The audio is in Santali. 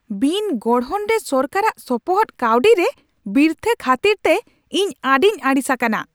ᱵᱤᱱᱜᱚᱲᱦᱚᱱ ᱨᱮ ᱥᱚᱨᱠᱟᱨᱟᱜ ᱥᱚᱯᱚᱦᱚᱫ ᱜᱟᱹᱣᱰᱤ ᱨᱮ ᱵᱤᱨᱛᱷᱟᱹ ᱠᱷᱟᱹᱛᱤᱨᱛᱮ ᱤᱧ ᱟᱹᱰᱤᱧ ᱟᱹᱲᱤᱥ ᱟᱠᱟᱱᱟ ᱾